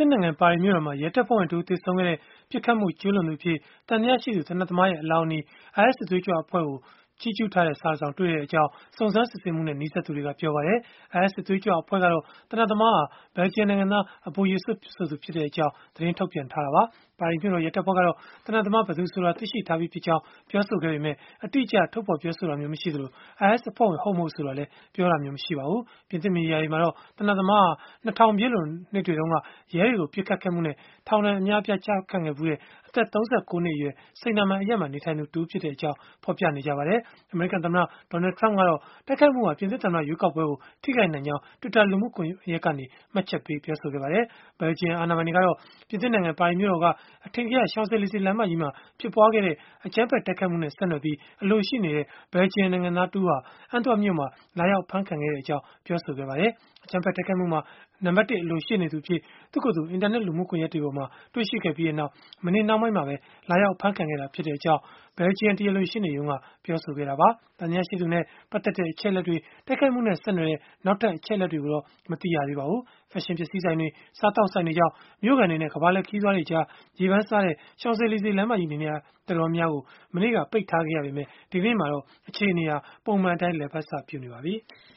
စ်နိုင်ငံ ပါရီမြို့တော်မှာ ရဲတပ်ဖွဲ့ဝင်တဦး သေဆုံးခဲ့တဲ့ ပစ်ခတ်မှုကျုးလွန်သူအဖြစ် သံသယရှိတဲ့ သေနတ်သမားရဲ့ အလောင်းအနီး IS စစ်သွေးကြွအဖွဲ့ကို ချီးကျုးဂုဏ်ပြုထားတဲ့ စာတစောင်ကို တွေ့ရှိခဲ့ကြောင်း၊ စုံစမ်းစစ်ဆေးမှုနဲ့ နီးစပ်သူတွေက ပြောပါတယ်။ IS စစ်သွေးကြွ အဖွဲ့ကတော့ သေနတ်သမားဟာ ဘယ်လ်ဂျီယံနိုင်ငံသား Abu Yussef ဆိုသူဖြစ်ကြောင်း သတင်းထုတ်ပြန်ထားတာပါ။ ပါရီမြို့တော် ရဲတပ်ဖွဲ့ကတော့ သေနတ်သမား ဘယ်သူဆိုတာ သိရှိထားပြီးဖြစ်ကြောင်း ပြောဆိုခဲ့ပေမဲ့ အတိအကျ ထုတ်ဖော် ပြောဆိုခြင်း မရှိသလို၊ IS အဖွဲ့ဝင် ဟုတ်-မဟုတ် ဆိုတာကိုလည်း ပြောဆိုတာမျိုး မရှိပါဘူး။ ပြင်သစ်မီဒီယာတွေမှာတော့ သေနတ်သမားဟာ ၂၀၀၀ ပြည့်လွန်တုန်းက ရဲတွေကို ပစ်ခတ်ခဲ့မှုနဲ့ ထောင်ဒဏ်ကျခံခဲ့ဖူးတဲ့ အသက် ၃၉ နှစ်အရွယ် Seine-et-Marne အရပ်မှာ နေထိုင်သူတဦးဖြစ်ကြောင်း ဖော်ပြနေကြပါတယ်။ အမေရိကန်သမ္မတ Donald Trump ကတော့ တိုက်ခိုက်မှုဟာ ပြင်သစ်သမ္မတ ရွေးကောက်ပွဲကို ထိခိုက်နိုင်ကြောင်း Twitter လူမှုကွန်ယက်ကနေ မှတ်ချက်ပေးခဲ့ပါတယ်။ ပြင်သစ်နိုင်ငံ ပါရီမြို့တော်က အထင်ကရ Champs-Elysees လမ်းမကြီးပေါ်မှာ ဖြစ်ပွားခဲ့တဲ့ အကြမ်းဖက် တိုက်ခိုက်မှုနဲ့ ဆက်နွယ်ပြီး အလိုရှိနေတဲ့ ဘယ်လ်ဂျီယံနိုင်ငံသား တဦးဟာ Antwerp မြို့မှာ လာရောက် အဖမ်းခံခဲ့ကြောင်း အာဏာပိုင်တွေက ပြောပါတယ်။ အကြမ်းဖက် တိုက်ခိုက်မှုမှာ နံပတ်တစ် အလိုရှိနေသူအဖြစ် သူ့ကိုယ်သူ အင်တာနက် လူမှုကွန်ယက်တွေမှာ တွေ့ခဲ့ပြီးနောက် မနေ့နှောင်းပိုင်းမှာ လာအဖမ်းခံခဲ့တာဖြစ်ကြောင်း ဘယ်လ်ဂျီယံ တရားလိုရှေ့နေရုံးက ပြောဆိုခဲ့တာပါ။ သံသယရှိသူနဲ့ ပတ်သက်တဲ့ အချက်အလက်တွေ၊ တိုက်ခိုက်မှုနဲ့ ဆက်နွယ်တဲ့ နောက်ထပ် အချက်အလက်တွေကိုတော့ မသိရသေးပါဘူး။ ဖက်ရှင်ပစ္စည်းဆိုင်တွေ၊ စားသောက်ဆိုင်တွေကြောင့် မြို့ခံတွေနဲ့ ကမ္ဘာလှည့် ခရီးသွားတွေကြား ရေပမ်းစားတဲ့ Champs-Elysees လမ်းမကြီး နေရာတော်တော်များများကို မနေ့တုန်းက ပိတ်ထားခဲ့ရပေမဲ့ ဒီကနေ့မှာတော့ အခြေအနေဟာ ပုံမှန်အတိုင်း လည်ပတ်စပြုနေပါပြီ။